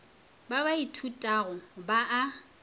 ba ba ithutago ba a